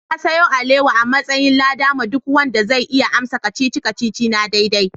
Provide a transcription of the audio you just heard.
Na sayo alewa a'matsayin lada ma duk wanda zai iya amsa kacici-kacici na daidai.